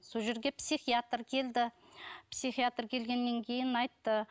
сол жерге психиатр келді писхиатр келгеннен кейін айтты